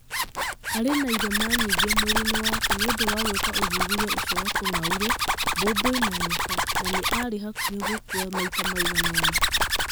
Arĩ na irema nyingĩ mwĩrĩ-inĩ wake nĩ ũndũ wa gũĩka ũthuthuria ucio wa tũng'aurũ, mbũmbũĩ na nyoka, na nĩ arĩ hakuhĩ gũkua maita maigana ũna.